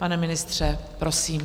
Pane ministře, prosím.